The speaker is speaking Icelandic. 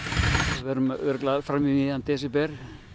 við verðum örugglega fram í miðjan desember